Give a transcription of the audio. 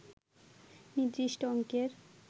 নির্দিষ্ট অঙ্কের